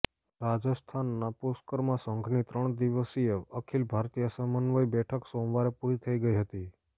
રાજસ્થાનના પુષ્કરમાં સંઘની ત્રણ દિવસીય અખિલ ભારતીય સમન્વય બેઠક સોમવારે પુરી થઈ હતી